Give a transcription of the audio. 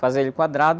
Fazer ele quadrado.